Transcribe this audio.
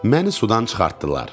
Məni sudan çıxartdılar.